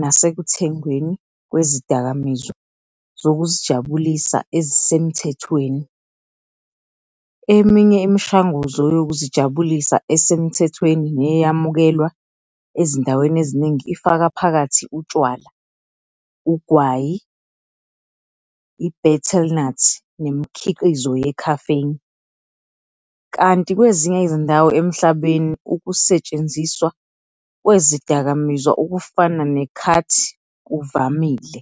nasekuthengweni kwezidakamizwa zokuzijabulisa ezisemthethweni. Eminye imishanguzo yokuzijabulisa esemthethweni neyamukelwa ezindaweni eziningi ifaka phakathi utshwala, ugwayi, i- betel nut, nemikhiqizo ye-caffeine, kanti kwezinye izindawo emhlabeni ukusetshenziswa kwezidakamizwa okufana ne- khat kuvamile.